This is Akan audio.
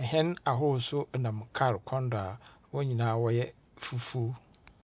Ahɛn ahorow so nam kaar kwan do a hɔn nyinaa wɔyɛ fufuw.